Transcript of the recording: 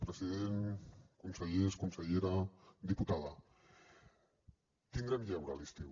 president consellers consellera diputada tindrem lleure a l’estiu